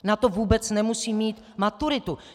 Na to vůbec nemusí mít maturitu.